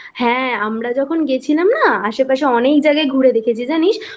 হ্যাঁ আমরা যখন গেছিলাম না আশেপাশে অনেক জায়গায় ঘুরে দেখেছি জানিস